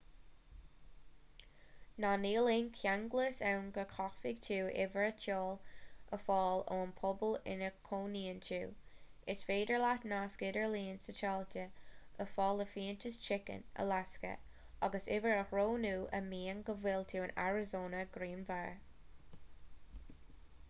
ná níl aon cheanglas ann go gcaithfidh tú uimhir áitiúil a fháil ón bpobal ina gcónaíonn tú is féidir leat nasc idirlín satailíte a fháil i bhfiántas chicken alasca agus uimhir a roghnú a mhaíonn go bhfuil tú in arizona grianmhar